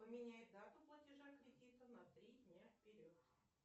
поменяй дату платежа кредита на три дня вперед